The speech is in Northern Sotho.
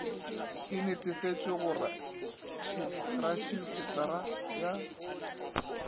e netefatšwe go retšisetara ya